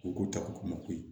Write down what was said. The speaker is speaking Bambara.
U ko ko ta ko ma ko